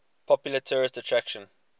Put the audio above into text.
popular tourist attraction